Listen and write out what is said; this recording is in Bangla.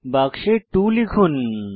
বাক্সে 2 লিখুন